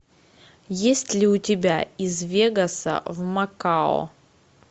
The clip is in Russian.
есть ли у тебя из вегаса в макао